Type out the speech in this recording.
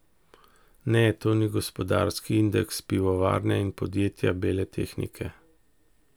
Ne, to ni gospodarski indeks pivovarne in podjetja bele tehnike.